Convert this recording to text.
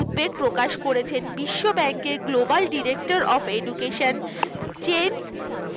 উদ্বেগ প্রকাশ করেছেন বিশ্ব bank এর Global Director of Education James